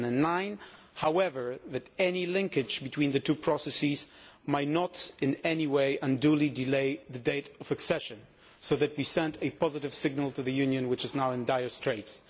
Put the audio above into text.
2009. However, any linkage between the two processes may not in any way unduly delay the date of accession, so that we send a positive signal to the Union, which is now in dire straits.